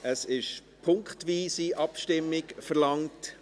Es wurde punktweise Abstimmung verlangt.